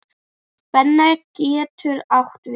Spenna getur átt við